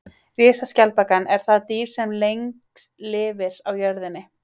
Risaskjaldbakan er það dýr sem lengst lifir á jörðinni.